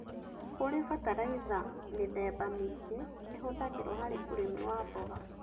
Kũrĩ bataraiza mĩthemba mĩingĩ ĩhũthagĩrwo harĩ ũrĩmi wa mboga.